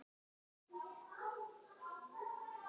Gengur allt vel?